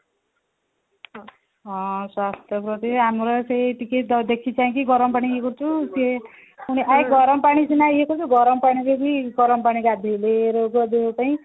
ହଁ ସ୍ୱାସ୍ଥ୍ୟ ପ୍ରତି ହଁ ଆମର ସେଇ ଟିକେ ଦେଖି ଚାହିଁଙ୍କି ଗରମ ପାଣି ଇଏ କରୁଥିବ ସିଏ ପୁଣି ଗରମ ପାଣି ସିନା ଇଏ କରିଦବୁ ଗରମ ପାଣିରେ ବି ଗରମ ପାଣି ଗାଧେଇଲେ ରୋଗ ଦେହ ପାଇଁ